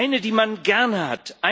Eine, die man gerne hat.